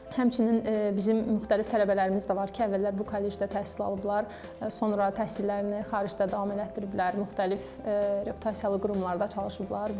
Həmçinin bizim müxtəlif tələbələrimiz də var ki, əvvəllər bu kollecdə təhsil alıblar, sonra təhsillərini xaricdə davam etdiriblər, müxtəlif reputasiyalı qurumlarda çalışıblar.